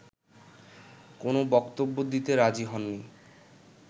কোন বক্তব্য দিতে রাজি হননি